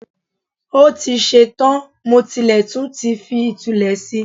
Ó ti ṣe tán, mo tilẹ̀ tún ti fi ìtulẹ̀ si